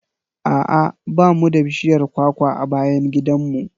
A'a ba mu da bishiyar kwakwa a bayan gidan mu.